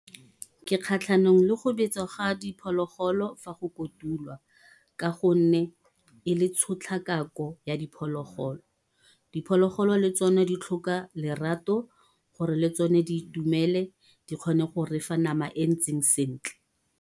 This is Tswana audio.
Ke kgatlhanong le go betswa ga diphologolo fa go kotulwa, ka gonne e le tshotlakako ya diphologolo. Diphologolo le tsone di tlhoka lerato, gore le tsone di itumele, di kgone go re fa nama e ntseng sentle.